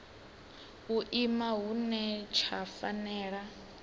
u ima hune tsha fanela